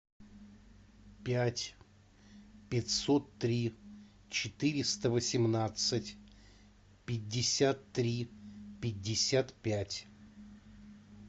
пять пятьсот три четыреста восемнадцать пятьдесят три пятьдесят пять